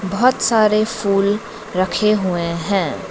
बहोत सारे फूल रखे हुए है।